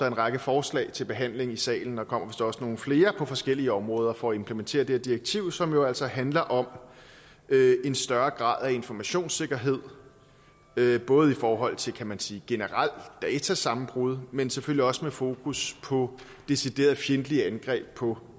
en række forslag til behandling i salen og der kommer vist også nogle flere på forskellige områder for at implementere det her direktiv som jo altså handler om en større grad af informationssikkerhed både i forhold til kan man sige generel datasammenbrud men selvfølgelig også med fokus på decideret fjendtlige angreb på